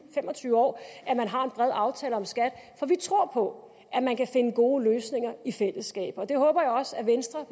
fem og tyve år at man har en bred aftale om skat for vi tror på at man kan finde gode løsninger i fællesskab det håber jeg også venstre